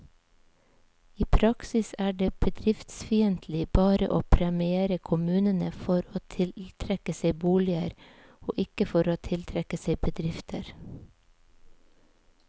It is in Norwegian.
I praksis er det bedriftsfiendtlig bare å premiere kommunene for å tiltrekke seg boliger, og ikke for å tiltrekke seg bedrifter.